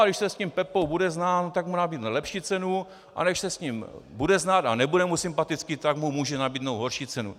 A když se s tím Pepou bude znát, tak mu nabídne lepší cenu, a když se s ním bude znát a nebude mu sympatický, tak mu může nabídnout horší cenu.